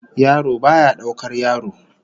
Yaro baya daukar yaro